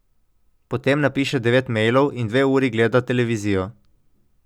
Potem napiše devet mejlov in dve uri gleda televizijo.